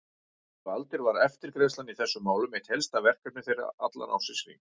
Næstu aldir var eftirgrennslan í þessum málum eitt helsta verkefni þeirra allan ársins hring.